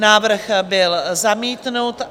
Návrh byl zamítnut.